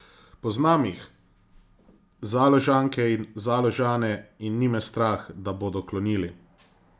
Poznam jih, Založanke in Založane, in ni me strah, da bodo klonili!